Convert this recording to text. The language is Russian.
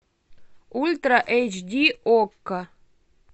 ультра эйч ди окко